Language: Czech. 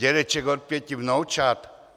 Dědeček od pěti vnoučat?